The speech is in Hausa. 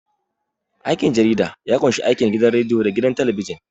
Aikin jarida ya ƙunshi aikin gidan radiyo da gidan talabijin.